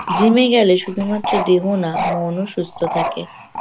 Gym -এ গেলে শুধুমাত্র দেহ না মনও সুস্থ থাকে।